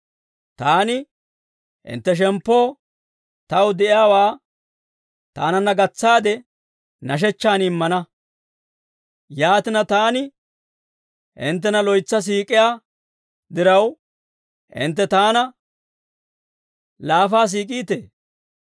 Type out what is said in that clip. Taani hintte shemppoo taw de'iyaawaa taananna gatsaade nashechchaan immana; yaatina, taani hinttena loytsa siik'iyaa diraw, hintte taana laafaa siik'iitee?